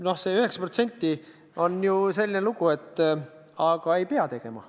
Noh, selle 9%-ga on selline lugu, et ei pea ju seda otsust tegema.